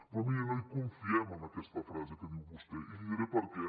però miri no hi confiem en aquesta frase que diu vostè i li diré per què